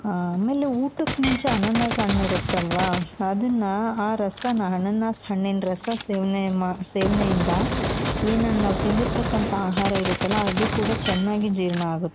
ಹ ಆಮೇಲೆ ಊಟಕ್ ಮುಂಚೆ ಅನಾನಸ್ ಹಣ್ಣಿರುತ್ತಲ್ವಾ ಅದುನ್ನ ಆ ರಸಾನ ಅನಾನಸ್ ಹಣ್ಣಿನ ರಸ ಸೇವನೆ ಸೇವನೆಯಿಂದ ಏನು ನಾವ್ ತಿಂದಿರ್ತಕ್ಕಂತ ಆಹಾರ ಇರುತ್ತಲ ಅದು ಕೂಡ ಚೆನ್ನಾಗಿ ಜೀರ್ಣ ಆಗುತ್ತೆ .